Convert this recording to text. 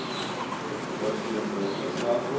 austrian business cycle